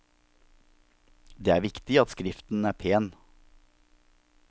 Det er viktig at skriften er pen.